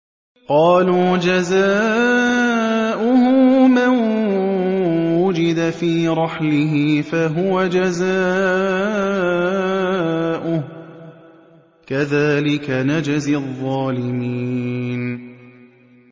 قَالُوا جَزَاؤُهُ مَن وُجِدَ فِي رَحْلِهِ فَهُوَ جَزَاؤُهُ ۚ كَذَٰلِكَ نَجْزِي الظَّالِمِينَ